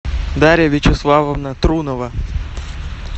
дарья вячеславовна трунова